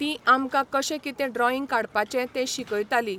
ती आमकां कशें कितें ड्रॉईंग काडपाचें तें शिकयताली.